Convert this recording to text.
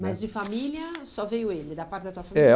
Mas de família só veio ele, da parte da tua família? É